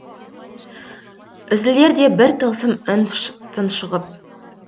үзілердей бір тылсым үн тұншығып